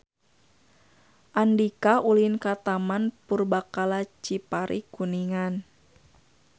Andika ulin ka Taman Purbakala Cipari Kuningan